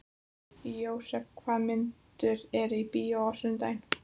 Jósep, hvaða myndir eru í bíó á sunnudaginn?